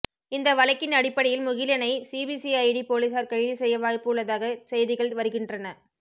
இந்த வழக்கின் அடிப்படையில் முகிலனை சிபிசிஐடி போலீசார் கைது செய்ய வாய்ப்பு உள்ளதாக செய்திகள் வருகின்றன